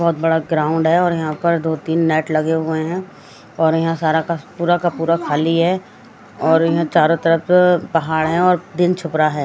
बहुत बड़ा ग्राउंड है और यहां पर दो तीन नेट लगे हुए हैं और यहां पर सारा पूरा का पूरा खाली है और यहां चारों तरफ पहाड़ है और दिन छुप रहा है।